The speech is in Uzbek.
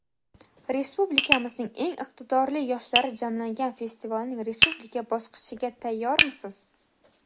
Respublikamizning eng iqtidorli yoshlari jamlangan festivalning respublika bosqichiga tayyormisiz?.